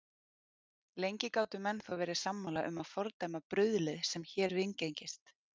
Lengi gátu menn þó verið sammála um að fordæma bruðlið, sem hér viðgengist.